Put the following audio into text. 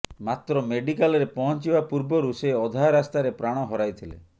ମାତ୍ର ମେଡ଼ିକାଲରେ ପହଁଚିବା ପୂର୍ବରୁ ସେ ଅଧା ରାସ୍ତାରେ ପ୍ରାଣ ହରାଇଥିଲେ